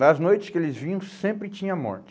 Nas noites que eles vinham, sempre tinha morte.